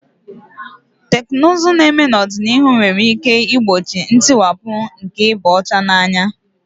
Teknụzụ na-eme n'ọdịnihu nwere ike igbochi ntiwapụ nke ịba ọcha n'anya.